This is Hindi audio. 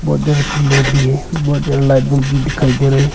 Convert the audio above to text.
बहोत जादा पिलर भी है बहुत जादा लाइट बल्ब भी दिखाई दे रा है।